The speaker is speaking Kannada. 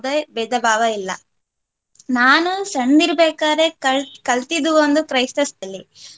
ಭೇದ ಭಾವ ಇಲ್ಲ. ನಾನು ಸಣ್ದಿರ್ಬೇಕಾದ್ರೆ ಕಲ್~ ಕಲ್ತಿದ್ದು ಒಂದು ಕ್ರೈಸ್ತ school ಅಲ್ಲಿ